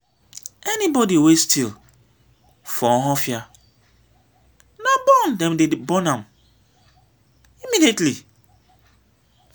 anybody wey steal for ohaofia na burn dem dey burn burn am immediately